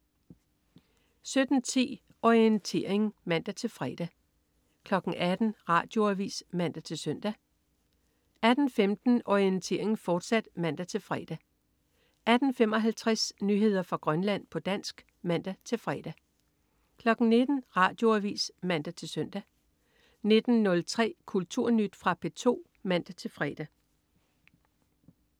17.10 Orientering (man-fre) 18.00 Radioavis (man-søn) 18.15 Orientering, fortsat (man-fre) 18.55 Nyheder fra Grønland, på dansk (man-fre) 19.00 Radioavis (man-søn) 19.03 Kulturnyt. Fra P2 (man-fre)